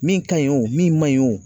Min ka ɲi wo , min man ɲi wo